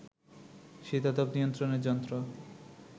শীতাতপ নিয়ন্ত্রণের যন্ত্র